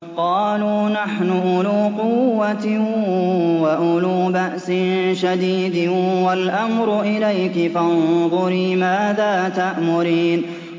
قَالُوا نَحْنُ أُولُو قُوَّةٍ وَأُولُو بَأْسٍ شَدِيدٍ وَالْأَمْرُ إِلَيْكِ فَانظُرِي مَاذَا تَأْمُرِينَ